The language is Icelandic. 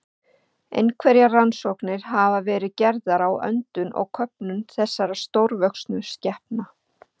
Einhverjar rannsóknir hafa verið gerðar á öndun og köfun þessara stórvöxnu skepna.